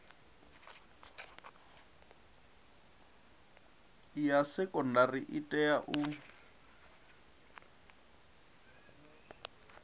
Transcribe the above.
ya sekondari i tea u